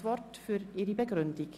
Wir wünschen ihr gute Besserung.